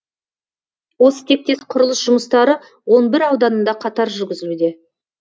осы тектес құрылыс жұмыстары он бір ауданында қатар жүрзілуде